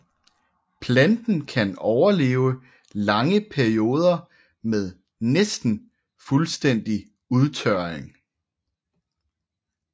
Planten kan overleve lange perioder med næsten fuldstændig udtørring